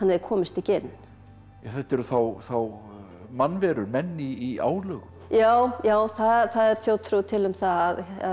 komist ekki inn þetta eru þá þá mannverur menn í álögum já já það er þjóðtrú til um það